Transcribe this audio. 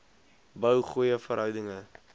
bou goeie verhoudinge